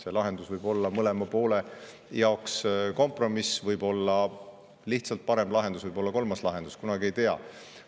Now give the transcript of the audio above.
See lahendus võib olla mõlema poole jaoks kompromiss, võib olla lihtsalt parem lahendus, võib olla kolmas lahendus, kunagi ei tea.